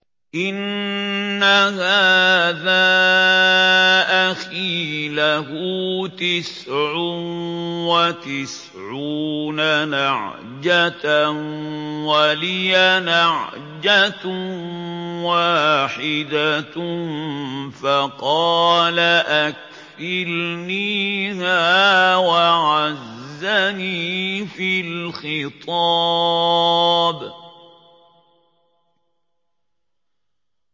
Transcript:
إِنَّ هَٰذَا أَخِي لَهُ تِسْعٌ وَتِسْعُونَ نَعْجَةً وَلِيَ نَعْجَةٌ وَاحِدَةٌ فَقَالَ أَكْفِلْنِيهَا وَعَزَّنِي فِي الْخِطَابِ